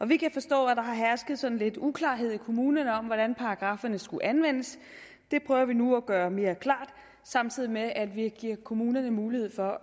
vi kan forstå at der hersker sådan lidt uklarhed i kommunerne om hvordan paragrafferne skulle anvendes det prøver vi nu at gøre mere klart samtidig med at vi giver kommunerne mulighed for